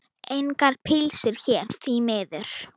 Engar pylsur hér, því miður.